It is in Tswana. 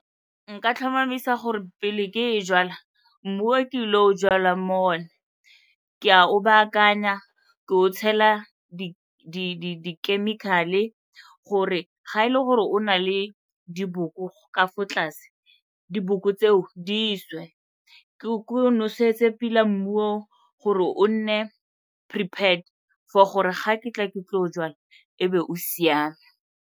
Nka tlhomamisa gore pele ke e jwala, mmu ke ile o jalang mo one, ke a o baakanya, ke o tshela di-chemical-e gore ga e le gore o na le diboko ka ko tlase, diboko tseo di swe. Ke o nosetse pila mmu gore o nne prepared for gore ga ke tla ke tlo jwala e be o siame.